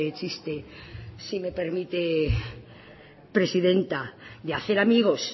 chiste si me permite presidenta de hacer amigos